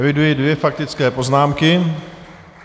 Eviduji dvě faktické poznámky.